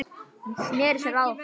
Hún sneri sér að okkur